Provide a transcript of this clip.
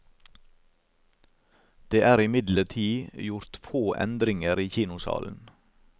Det er imidlertid gjort få endringer i kinosalen.